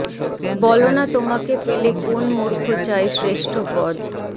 বলো না তোমাকে পেলে কোন মূর্খ চায় শ্রেষ্ঠ পদ